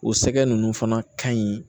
O sɛgɛ ninnu fana ka ɲi